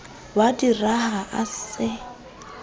wa di raha e sa